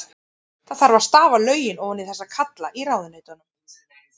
Það þarf að stafa lögin ofan í þessa kalla í ráðuneytunum.